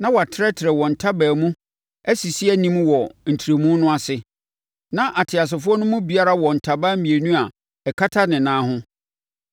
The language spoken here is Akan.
Na wɔatrɛtrɛ wɔn ntaban no mu asisi anim wɔ ntrɛmu no ase, na ateasefoɔ no mu biara wɔ ntaban mmienu a ɛkata ne ho.